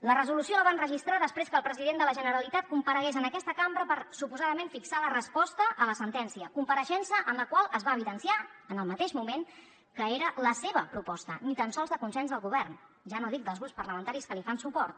la resolució la van registrar després que el president de la generalitat comparegués en aquesta cambra per suposadament fixar la resposta a la sentència compareixença en la qual es va evidenciar en el mateix moment que era la seva proposta ni tan sols de consens del govern ja no dic dels grups parlamentaris que li fan suport